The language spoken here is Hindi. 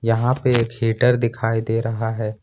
यहां पे एक हीटर दिखाई दे रहा है।